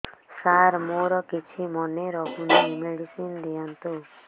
ସାର ମୋର କିଛି ମନେ ରହୁନି ମେଡିସିନ ଦିଅନ୍ତୁ